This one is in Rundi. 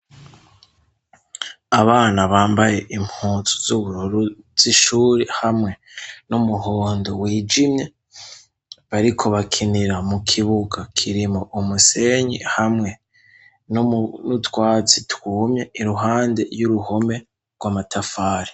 Abana bambaye impuzu z'ubururu z'ishure hamwe n'umuhondo wijimye, bariko bakinira mu kibuga kirimwo umusenyi hamwe n'utwatsi twumye iruhande y'uruhome rw'amatafari.